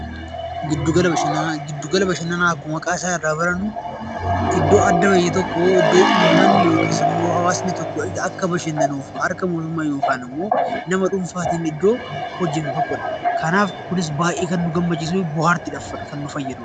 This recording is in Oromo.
Giddu gala bashannanaa Giddu gala bashannanaa akkuma maqaa isaa irraa barannuu, iddoo addaa wayii tokkoo, iddoo hawaasni baayyatu tokko akka bashannanuuf harka mootummaan yookaan immoo nama dhuunfaatiin iddoo hojjetamu tokkodha. Kanaaf baayyee kan nu gammachiisuu fi bohaartii kan nuuf kennuudhaa.